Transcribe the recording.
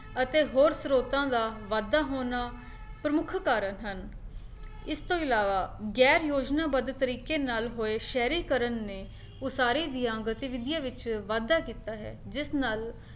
ਅਤੇ ਹੋਰ ਸਰੋਤਾਂ ਦਾ ਵਾਧਾ ਹੋਣਾ ਪ੍ਰਮੁੱਖ ਕਾਰਨ ਹਨ, ਇਸਤੋਂ ਇਲਾਵਾ ਗੈਰ ਯੋਜਨਾਬੱਧ ਤਰੀਕੇ ਨਾਲ ਹੋਏ ਸ਼ਹਿਰੀਕਰਣ ਨੇ ਉਸਾਰੀ ਦੀਆਂ ਗਤੀਵਿਧੀਆਂ ਵਿੱਚ ਵਾਧਾ ਕੀਤਾ ਹੈ, ਜਿਸ ਨਾਲ